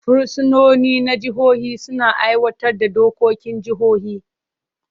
Fursunoni na jihohi suna aiwatar da dokokin jihohi.